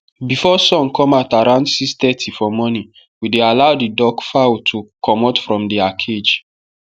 before sun come out around six thirty for morning we dey allow the duck fowl to comot from their cage